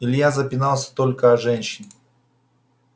илья запинался только о женщин